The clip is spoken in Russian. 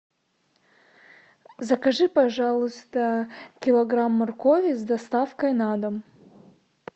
закажи пожалуйста килограмм моркови с доставкой на дом